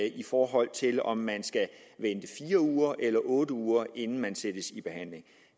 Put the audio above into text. i forhold til om man skal vente i fire uger eller otte uger inden man sættes i behandling